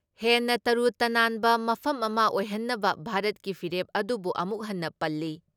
ꯍꯦꯟꯅ ꯇꯔꯨ ꯇꯅꯥꯟꯕ ꯃꯐꯝ ꯑꯃ ꯑꯣꯏꯍꯟꯅꯕ ꯚꯥꯔꯠꯀꯤ ꯐꯤꯔꯦꯞ ꯑꯗꯨꯕꯨ ꯑꯃꯨꯛ ꯍꯟꯅ ꯄꯜꯂꯤ ꯫